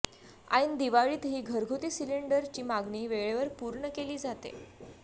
ऐन दिवाळीतही घरगुती सिलिंडरची मागणी वेळेवर पूर्ण केली जाते